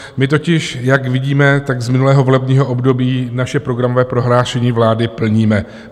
My totiž, jak vidíme, tak z minulého volebního období naše programové prohlášení vlády plníme.